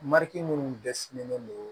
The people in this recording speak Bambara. Mari minnu dɛsɛlen do